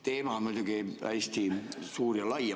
Teema on muidugi hästi suur ja lai.